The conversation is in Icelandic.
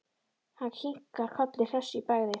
Hann kinkar kolli hress í bragði.